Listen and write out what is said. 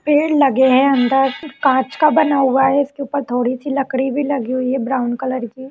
पेड़ लगे हैं अंदर कान्च का बना हुआ है इसके ऊपर थोडी सी लकड़ी भी लगी हुई है ब्राउन कलर की ।